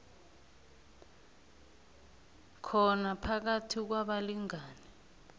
khona phakathi kwabalingani